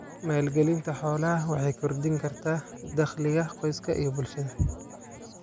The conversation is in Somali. Maalgelinta xoolaha waxay kordhin kartaa dakhliga qoyska iyo bulshada.